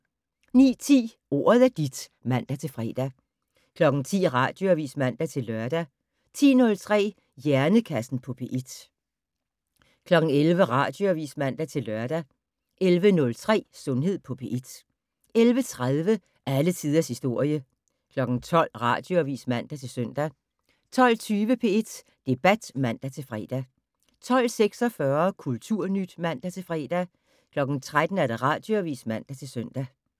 09:10: Ordet er dit (man-fre) 10:00: Radioavis (man-lør) 10:03: Hjernekassen på P1 11:00: Radioavis (man-lør) 11:03: Sundhed på P1 11:30: Alle tiders historie 12:00: Radioavis (man-søn) 12:20: P1 Debat (man-fre) 12:46: Kulturnyt (man-fre) 13:00: Radioavis (man-søn)